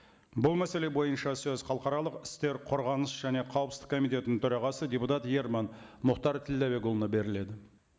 бұл мәселе бойынша сөз халықаралық істер қорғаныс және қауіпсіздік комитетінің төрағасы депутат ерман мұхтар тілдәбекұлына беріледі